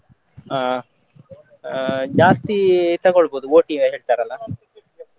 ಹಾ ಆ ಜಾಸ್ತಿ ತಕೊಳ್ಬೋದು OTI ಹೇಳ್ತಾರಲ್ಲ.